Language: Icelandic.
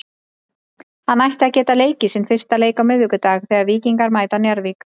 Hann ætti að geta leikið sinn fyrsta leik á miðvikudag þegar að Víkingar mæta Njarðvík.